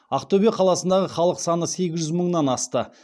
ақтөбе облысындағы халық саны сегіз жүз мыңнан асты